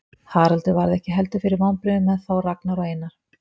Haraldur varð ekki heldur fyrir vonbrigðum með þá Ragnar og Einar.